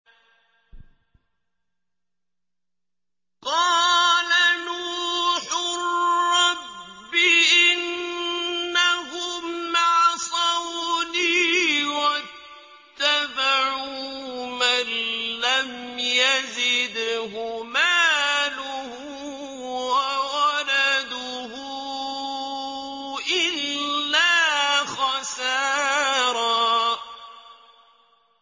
قَالَ نُوحٌ رَّبِّ إِنَّهُمْ عَصَوْنِي وَاتَّبَعُوا مَن لَّمْ يَزِدْهُ مَالُهُ وَوَلَدُهُ إِلَّا خَسَارًا